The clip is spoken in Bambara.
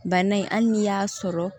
Bana in hali n'i y'a sɔrɔ